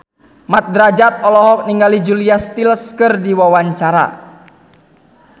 Mat Drajat olohok ningali Julia Stiles keur diwawancara